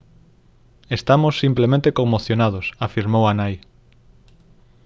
«estamos simplemente conmocionados» afirmou a nai